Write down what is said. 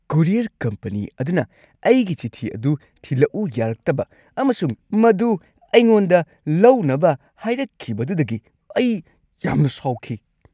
Courier company ꯑꯗꯨꯅ ꯑꯩꯒꯤ ꯆꯤꯊꯤ ꯑꯗꯨ ꯊꯤꯂꯛꯎ ꯌꯥꯔꯛꯇꯕ ꯑꯃꯁꯨꯡ ꯃꯗꯨ ꯑꯩꯉꯣꯟꯗ ꯂꯧꯅꯕ ꯍꯥꯏꯔꯛꯈꯤꯕꯗꯨꯗꯒꯤ ꯑꯩ ꯌꯥꯝꯅ ꯁꯥꯎꯈꯤ ꯫